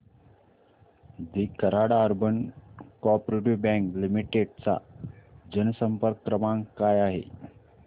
दि Karad urban coop bank limited चा जनसंपर्क क्रमांक काय आहे